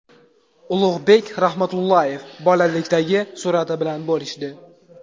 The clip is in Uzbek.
Ulug‘bek Rahmatullayev bolalikdagi surati bilan bo‘lishdi.